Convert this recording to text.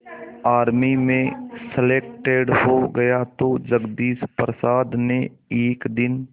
army में selected हो गया तो जगदीश प्रसाद ने एक दिन